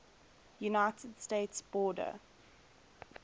united states border